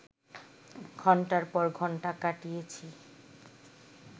ঘণ্টার পর ঘণ্টা কাটিয়েছি